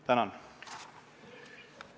Tänan!